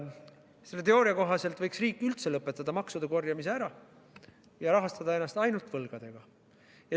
Selle teooria kohaselt võiks riik üldse lõpetada maksude korjamise ja rahastada ennast ainult võlgadega.